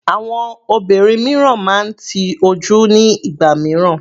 Àwọn obìnrin mìíràn máa ń ti ojú nígbà mìíràn.